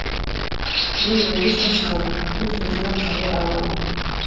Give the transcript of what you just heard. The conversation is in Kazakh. мен он бес жастамын өз өзіме қарай аламын